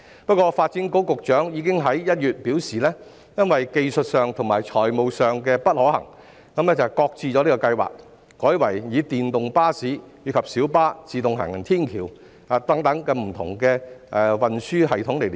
不過，發展局局長已經在1月表示在技術上和財務上不可行，擱置計劃，改為以電動巴士及小巴、自動行人天橋等作為區內的運輸連接系統。